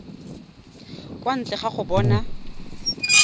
kwa ntle ga go bona